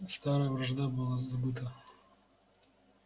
старая вражда была забыта